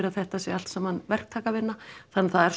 að þetta sé allt saman verktakavinna þannig að það er